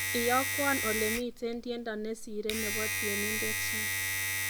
Iyarowon alemiten tiendo nesiren nebo tienident ni